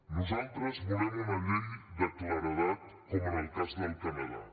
nosaltres volem una llei de claredat com en el cas del canadà